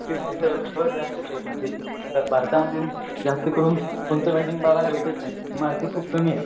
जास्त करून फेमस आहे मार्क खूप कमी आहेत